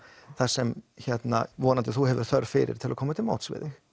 það sem þú hefur þörf fyrir til að komast á móts við þig